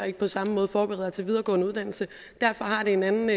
ikke på samme måde forbereder til videregående uddannelse derfor har det en anden